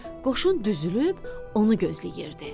Qoşun düzülüb onu gözləyirdi.